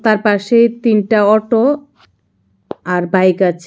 আর পাশেই তিনটা অটো আর বাইক আছে।